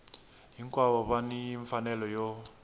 hinkwavo va ni mfanelo yo